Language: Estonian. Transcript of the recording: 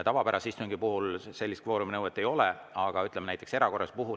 Tavapärase istungi puhul kvooruminõuet ei ole, aga näiteks erakorralise puhul on.